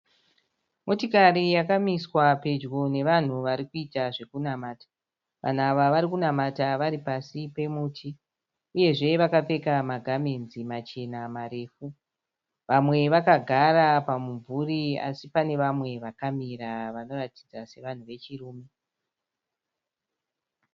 Motikari yakamiswa pedyo nevanhu varikuita zvekunamata. Vanhu ava varikunamata Vari pasi pemuti. Uyezve vakapfeka magamenzi machena marefu. Vamwe vakagara pamumvuri asi pane vamwe vakamira vanoratidza kuti vanhu vechirume.